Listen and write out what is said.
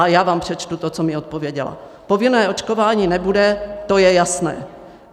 A já vám přečtu to, co mi odpověděla: Povinné očkování nebude, to je jasné.